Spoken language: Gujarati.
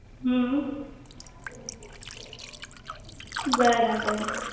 હમ્મ બરાબર